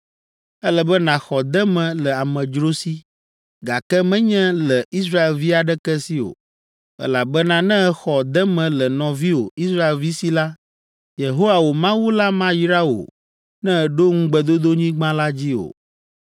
Ele be nàxɔ deme le amedzro si, gake menye le Israelvi aɖeke si o, elabena ne èxɔ deme le nɔviwò Israelvi si la, Yehowa, wò Mawu la mayra wò ne èɖo Ŋugbedodonyigba la dzi o.